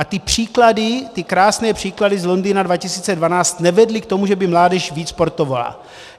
A ty příklady, ty krásné příklady z Londýna 2012 nevedly k tomu, že by mládež víc sportovala.